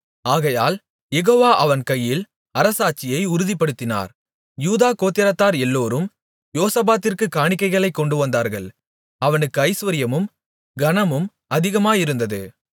ஆகையால் யெகோவா அவன் கையில் அரசாட்சியை உறுதிப்படுத்தினார் யூதா கோத்திரத்தார் எல்லோரும் யோசபாத்திற்குக் காணிக்கைகளைக் கொண்டுவந்தார்கள் அவனுக்கு ஐசுவரியமும் கனமும் அதிகமாயிருந்தது